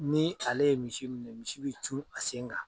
Ni ale ye misi minɛ misi bɛ cun a sen kan.